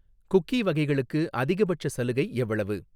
Cookie வகைகளுக்கு அதிகபட்ச சலுகை எவ்வளவு?